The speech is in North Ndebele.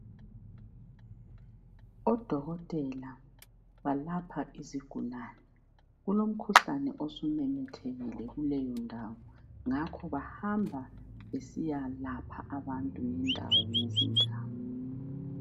Odokotela balapha izigulane. Kulomkhuhlane osumemethekile kuleyo ndawo ngakho bahamba besiya lapha abantu ngendawo ngezindawo.